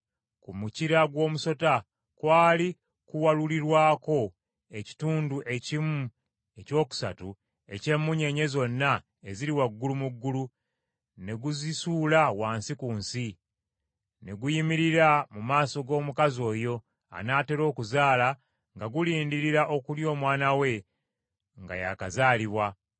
Ku mukira gw’ogusota kwali kuwalulirwako ekitundu ekimu ekyokusatu eky’emmunyeenye zonna eziri waggulu mu ggulu, ne guzisuula wansi ku nsi. Ne guyimirira mu maaso g’omukazi oyo, anaatera okuzaala nga gulindirira okulya omwana we nga yaakazaalibwa.